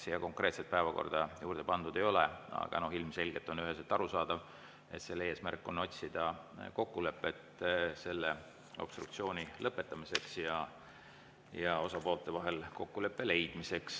Siia konkreetset päevakorda juurde pandud ei ole, aga ilmselgelt on üheselt arusaadav, et selle eesmärk on otsida kokkulepet obstruktsiooni lõpetamiseks, soovitakse osapoolte vahel kokkulepet leida.